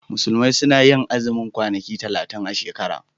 Musulmi suna yin azumin kwanaki talatin a shekara.